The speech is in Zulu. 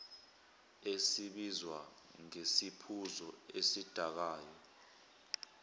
esibizwa ngesiphuzo esidakayo